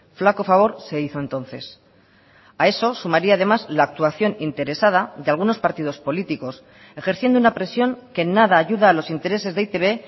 flaco favor se hizo entonces a eso sumaria además la actuación interesada de algunos partidos políticos ejerciendo una presión que nada ayuda a los intereses de e i te be